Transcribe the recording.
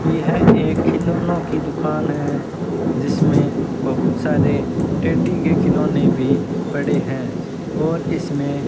यह एक खिलौनों की दुकान हैं जिसमेें बहुत सारे टेडी के खिलौने भी पड़े हैं और इसमें --